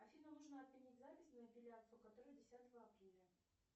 афина нужно отменить запись на эпиляцию которая десятого апреля